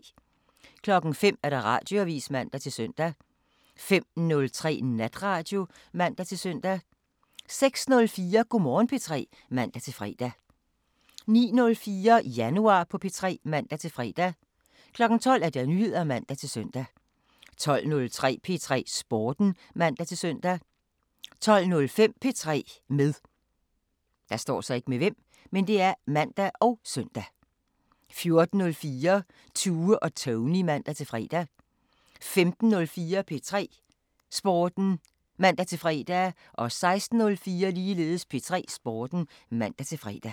05:00: Radioavisen (man-søn) 05:03: Natradio (man-søn) 06:04: Go' Morgen P3 (man-fre) 09:04: Januar på P3 (man-fre) 12:00: Nyheder (man-søn) 12:03: P3 Sporten (man-søn) 12:05: P3 med (man og søn) 14:04: Tue og Tony (man-fre) 15:04: P3 Sporten (man-fre) 16:04: P3 Sporten (man-fre)